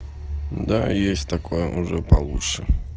да есть такое уже получше